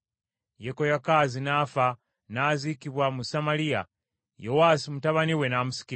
Yekoyakaazi n’afa, n’aziikibwa mu Samaliya, Yowaasi mutabani we n’amusikira.